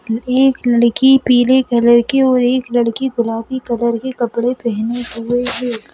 एक लड़की पीले कलर के और एक लड़की गुलाबी कलर के कपड़े पहने हुए है।